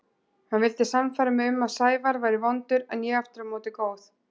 Hann vildi sannfæra mig um að Sævar væri vondur en ég aftur á móti góð.